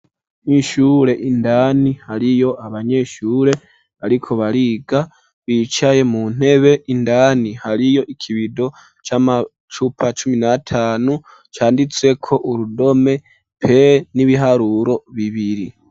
Kw'ishure indani hariyo abanyeshure bariko bariga, bicaye mu ntebe, indani hariyo ikibido c'amacupa cumi na tanu canditseko urudome p n'ibiharuro bibiri.